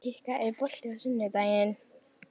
Kikka, er bolti á sunnudaginn?